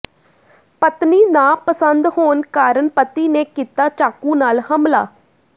ਪਤਨੀ ਨਾ ਪਸੰਦ ਹੋਣ ਕਾਰਨ ਪਤੀ ਨੇ ਕੀਤਾ ਚਾਕੂ ਨਾਲ ਹਮਲਾ